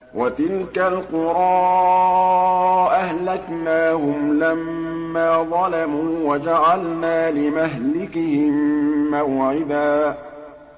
وَتِلْكَ الْقُرَىٰ أَهْلَكْنَاهُمْ لَمَّا ظَلَمُوا وَجَعَلْنَا لِمَهْلِكِهِم مَّوْعِدًا